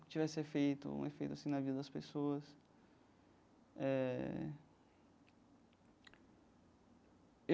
Que tivesse efeito um efeito assim na vida das pessoas eh.